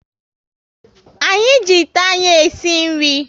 Anyị ji ite anyị e si nri